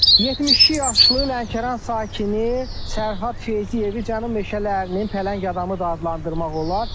72 yaşlı Lənkəran sakini Sərhəd Feyziyevi Cənub meşələrinin Pələng Adamı da adlandırmaq olar.